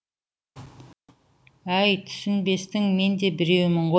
әй түсінбестің мен де біреуімін ғой